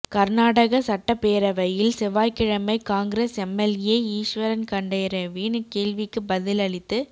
கா்நாடக சட்டப்பேரவையில் செவ்வாய்க்கிழமை காங்கிரஸ் எம்எல்ஏ ஈஸ்வா்கண்டரேவின் கேள்விக்குப் பதில் அளித்து